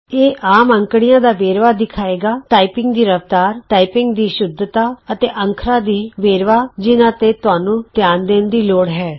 ਇਹ ਆਮ ਅੰਕੜਿਆਂ ਦਾ ਵੇਰਵਾ ਦਿਖਾਏਗਾ ਟਾਈਪਿੰਗ ਦੀ ਰਫਤਾਰ ਟਾਈਪਿੰਗ ਦੀ ਸ਼ੁੱਧਤਾ ਅਤੇ ਅੱਖਰਾਂ ਦੀ ਵੇਰਵਾ ਜਿੰਨਾਂ ਤੇ ਤੁਹਾਨੂੰ ਧਿਆਨ ਦੇਣ ਦੀ ਲੋੜ ਹੈ